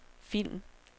film